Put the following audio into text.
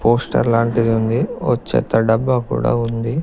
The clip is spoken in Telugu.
పోస్టర్ లాంటిది ఉంది ఓ చెత్త డబ్బా కూడా ఉంది.